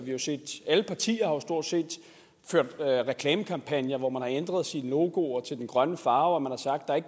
alle partier har jo stort set ført reklamekampagner hvor man har ændret sine logoer til den grønne farve og man har sagt at